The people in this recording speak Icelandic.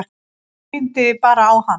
Einblíndi bara á hann.